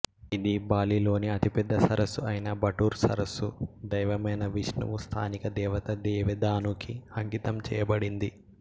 ఇది బాలిలోని అతిపెద్ద సరస్సు అయిన బటూర్ సరస్సు దైవమైన విష్ణువు స్థానిక దేవత దేవి దానుకి అంకితం చేయబడింది